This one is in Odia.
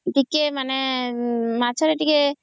ଟିକେ ମାନେ ମାଛ ରେ ଟିକେ